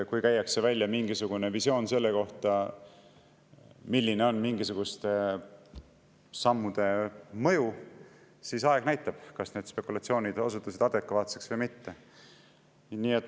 Kui käiakse välja mingisugune visioon selle kohta, milline on mingisuguste sammude mõju, siis aeg näitab, kas need spekulatsioonid osutusid adekvaatseks või mitte.